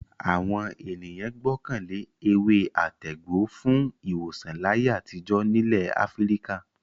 Àwọn ènìyàn gbọ́kàn lé ewé-àtegbò fún ìwòsàn láyé àtijọ́ nílẹ̀ Áfíríkà.